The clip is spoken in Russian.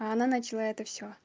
она начала это всё